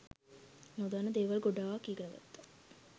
නොදන්න දේවල් ගොඩාක් ඉගෙනගත්තා.